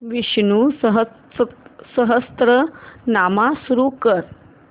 विष्णु सहस्त्रनाम सुरू कर